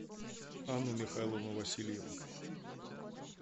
анну михайловну васильеву